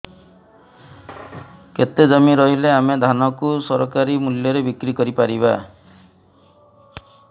କେତେ ଜମି ରହିଲେ ଆମେ ଧାନ କୁ ସରକାରୀ ମୂଲ୍ଯରେ ବିକ୍ରି କରିପାରିବା